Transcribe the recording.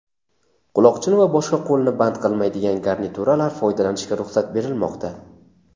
quloqchin va boshqa qo‘lni band qilmaydigan garnituralar foydalanishga ruxsat berilmoqda;.